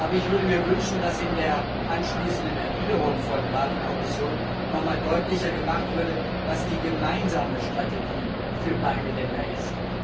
Ich würde mir wünschen, dass in der anschließenden Erwiderung von Rat und Kommission noch einmal deutlicher gemacht würde, was die gemeinsame Strategie für beide Länder ist.